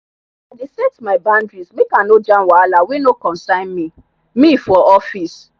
i dey set my boundary make i no jam wahala wey no concern me me for office.